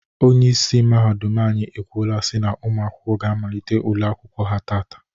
Onyeisi mahadum anyị ekwuola si na ụmụ akwụkwọ ga amalite ule akwụkwọ ha taata.